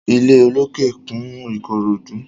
Ilé olókè kún Ìkòròdú.